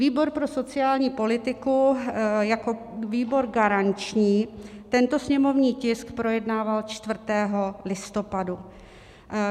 Výbor pro sociální politiku jako výbor garanční tento sněmovní tisk projednával 4. listopadu.